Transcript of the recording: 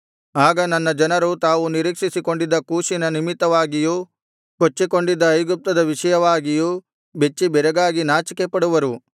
ಆಗ ನನ್ನ ಜನರು ತಾವು ನಿರೀಕ್ಷಿಸಿಕೊಂಡಿದ್ದ ಕೂಷಿನ ನಿಮಿತ್ತವಾಗಿಯೂ ಕೊಚ್ಚಿಕೊಂಡಿದ್ದ ಐಗುಪ್ತದ ವಿಷಯವಾಗಿಯೂ ಬೆಚ್ಚಿಬೆರಗಾಗಿ ನಾಚಿಕೆಪಡುವರು